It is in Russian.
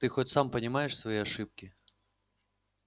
ты хоть сам понимаешь свои ошибки